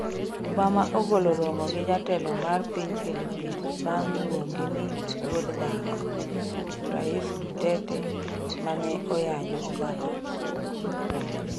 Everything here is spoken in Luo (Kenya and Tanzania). Obama ogolo romo gi jatelo mar piny Philippines bang' luonge ni "wuod dhako" rais Duterte, mane oyanyo Obama.